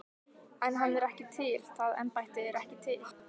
En hann er ekki til, það embætti er ekki til.